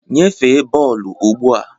Nyefee bọọlụ ugbu a!